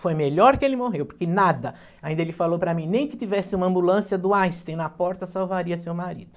Foi melhor que ele morreu, porque nada, ainda ele falou para mim, nem que tivesse uma ambulância do Einstein na porta, salvaria seu marido.